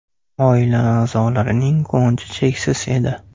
Oila a’zolarining quvonchi cheksiz edi.